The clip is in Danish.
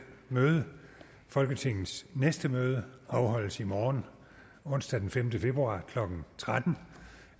møde folketingets næste møde afholdes i morgen onsdag den femte februar klokken tretten